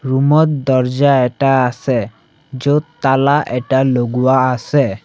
Room ত দৰ্জা এটা আছে য'ত তালা এটা লগোৱা আছে।